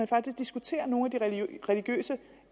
faktisk diskuterer nogle af de religiøse